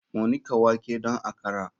Mu nika wake don akra.